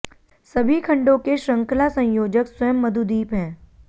सभी खंडों के शृंखला संयोजक स्वयं मधुदीप हैं